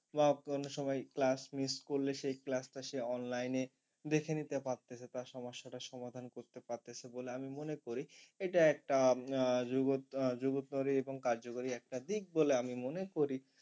বা কোন সময় class miss করলে সে class টা সে online এ দেখে নিতে পারতেছে তার সমস্যাটা সমাধান করতে পারতেছে বলে আমি মনে করি। এটা একটা আহ যুব আহ জুবতরী এবং কার্যকরী একটা দিক বলে আমি মনে করি।